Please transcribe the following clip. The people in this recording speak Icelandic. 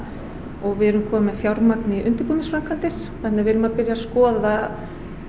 og við erum komin með fjármagn í undirbúningsframkvæmdir þannig við erum að byrja að skoða